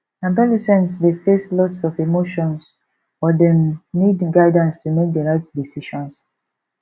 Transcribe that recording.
adolescents dey face lots of emotions but dem need guidance to make the right decisions